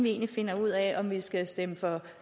egentlig finder ud af om vi skal stemme for